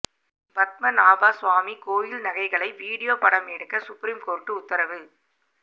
பத்மநாபா சுவாமி கோவில் நகைகளை வீடியோ படம் எடுக்க சுப்ரீம்கோர்ட்டு உத்தரவு